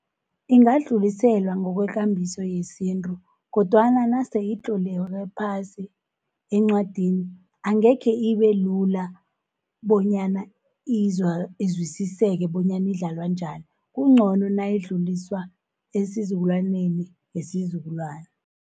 Ingadlulisela ngokwekambiso yesintu, kodwana naseyitloleke phasi encwadini, angekhe ibe lula bonyana izwisiseke bonyana idlalwa njani. Kuncono nayidluliswa esizukulwaneni ngesizukulwana.